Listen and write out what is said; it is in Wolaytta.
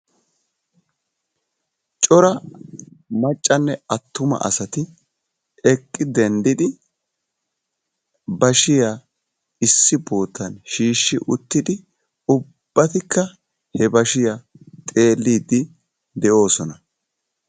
Cora maccanne attuma asati eqqi dendidi bashiya issi bootan shiishshi uttidi ubbatikka he bashiya xeelliddi de'oosona.